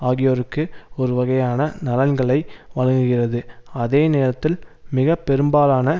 ஆகியோருக்கு ஒரு வகையான நலன்களை வழங்குகிறது அதே நேரத்தில் மிக பெரும்பாலான